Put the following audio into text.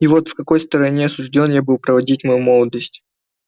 и вот в какой стороне осуждён я был проводить мою молодость